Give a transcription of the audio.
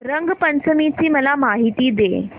रंग पंचमी ची मला माहिती दे